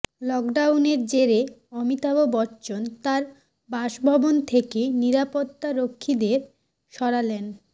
লকডাউনের জেরে অমিতাভ বচ্চন তাঁর বাসভবন থেকে নিরাপত্তারক্ষীদের সরালেন